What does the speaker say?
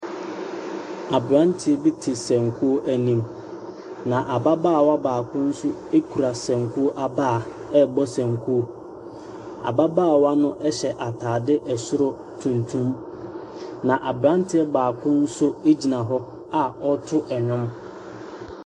Abranteɛ bi te sɛnkuo anim. Na abaawa baako nso kura sɛnkuo abaa rebɔsɛnkuo. Ababaawa no hyɛ ataade ɛsoro tuntum. Na abranteɛ baako gyina hɔ na ɔreto nnwom.